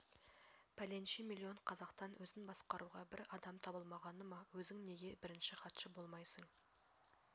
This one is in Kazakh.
пәленше миллион қазақтан өзін басқаруға бір адам табылмағаны ма өзің неге бірінші хатшы болмайсың